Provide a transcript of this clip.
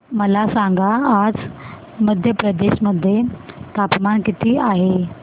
मला सांगा आज मध्य प्रदेश मध्ये तापमान किती आहे